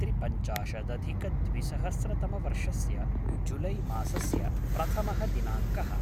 त्रिपञ्चाशदधिकद्विसहस्रतमवर्षस्य जुलै मासस्य प्रथमः दिनाङ्कः